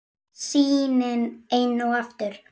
Sýnin enn og aftur.